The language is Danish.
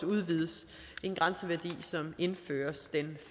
udvides en grænseværdi som indføres den